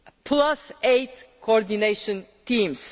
plus eight coordination teams.